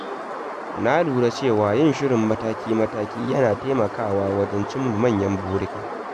Na lura cewa yin shirin mataki-mataki yana taimakawa wajen cimma manyan burika.